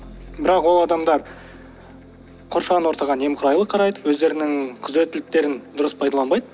бірақ ол адамдар қоршаған ортаға немқұрайлы қарайды өздерінің күзеттіліктерін дұрыс пайдаланбайды